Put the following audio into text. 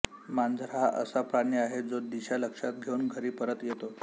मांजर हा असा प्राणी आहे जो दिशा लक्षात घेऊन घरी परत येतो